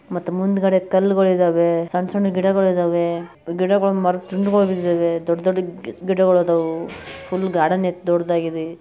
ಮುಂದ್ಗಡೆ ಕಲ್ಲಿದ್ದಾವೆ ಸಣ್ಣ ಸಣ್ಣ ಗಿಡಗಳಿದವೇ ಗಿಡಮರಗಳ ತುಂಡು ಬಿದ್ದಿದೆ ದೊಡ್ಡ ಗಿಡಗಳಿದಾವೆ ಫುಲ್ ಗಾರ್ಡನ್ ಇದೆ ದೊಡ್ಡದಾಗಿದೆ .